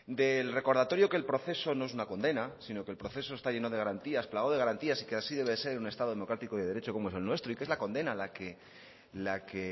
del recordatorio que el proceso no es una condena sino que el proceso está lleno de garantías plagado de garantías y que así debe de ser en un estado democrático y de derecho como es el nuestro y que es la condena la que